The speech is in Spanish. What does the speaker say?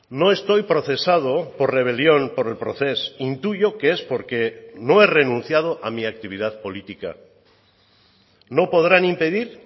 no estoy procesado por rebelión por el procés intuyo que es porque no he renunciado a mi actividad política no podrán impedir